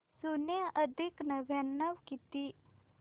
शून्य अधिक नव्याण्णव किती